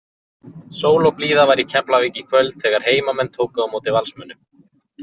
Sól og blíða var í Keflavík í kvöld þegar heimamenn tóku á móti Valsmönnum.